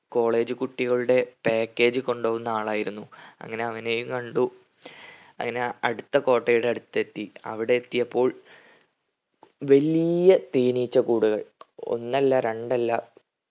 college കുട്ടികളുടെ package കൊണ്ടുപോകുന്ന ആളായിരുന്നു. അങ്ങനെ അവനെയും കണ്ടു അങ്ങനെ അടുത്ത കോട്ടയുടെ അടുത്തെത്തി. അവിടെത്തിയപ്പോൾ വലിയ തേനീച്ചക്കൂടുകൾ ഒന്നല്ല രണ്ടല്ല